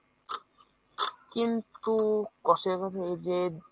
কিন্তু কষ্ঠের কথা এই যে